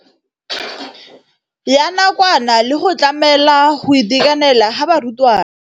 Ya nakwana le go tlamela go itekanela ga barutwana.